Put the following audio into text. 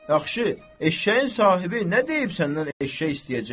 Yaxşı, eşşəyin sahibi nə deyib səndən eşşək istəyəcək?